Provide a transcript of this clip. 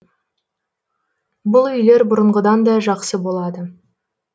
бұл үйлер бұрынғыдан да жақсы болады